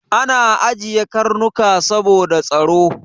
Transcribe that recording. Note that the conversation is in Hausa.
Ana ajiye Karnuka saboda tsaro.